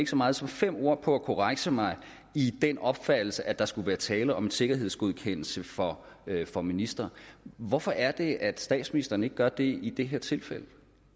så meget som fem ord på at korrekse mig i den opfattelse at der skulle være tale om en sikkerhedsgodkendelse for for ministre hvorfor er det at statsministeren ikke gør det i det her tilfælde